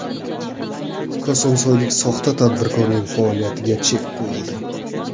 Kosonsoylik soxta tadbirkorning faoliyatiga chek qo‘yildi.